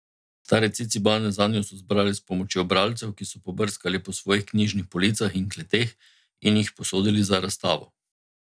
Stare Cicibane zanjo so zbrali s pomočjo bralcev, ki so pobrskali po svojih knjižnih policah in kleteh in jih posodili za razstavo.